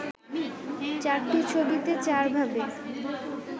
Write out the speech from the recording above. চারটি ছবিতে চারভাবে